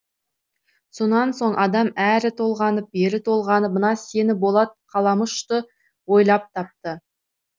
сонан соң адам әрі толғанып бері толғанып мына сені болат қаламұшты ойлап тапты